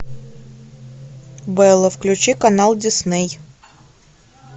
белла включи канал дисней